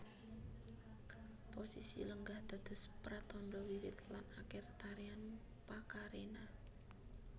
Posisi lenggah dados pratandha wiwit lan akhir Tarian Pakarena